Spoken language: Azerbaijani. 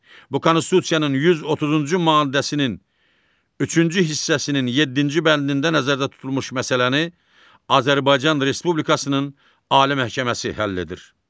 Bu Konstitusiyanın 130-cu maddəsinin üçüncü hissəsinin yeddinci bəndində nəzərdə tutulmuş məsələni Azərbaycan Respublikasının Ali Məhkəməsi həll edir.